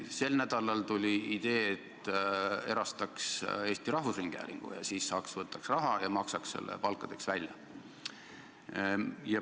Sel nädalal tuli idee, et erastaks Eesti Rahvusringhäälingu, siis võtaks raha ja maksaks selle palkadeks välja.